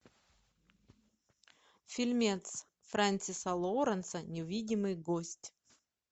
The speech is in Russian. фильмец френсиса лоуренса невидимый гость